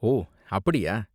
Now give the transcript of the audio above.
ஓ, அப்படியா?